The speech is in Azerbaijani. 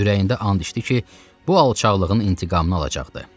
Ürəyində and içdi ki, bu alçaqlığın intiqamını alacaqdı.